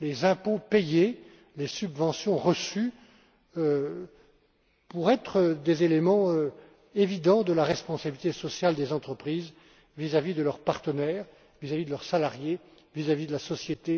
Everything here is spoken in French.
les impôts payés et les subventions reçues, en tant qu'élément important de la responsabilité sociale des entreprises vis à vis de leurs partenaires, de leurs salariés et de la société